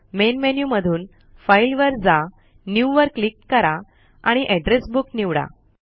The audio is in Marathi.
मेन मेन्यु मधुन फाईल वर जा न्यू वर क्लिक करा आणि एड्रेस बुक निवडा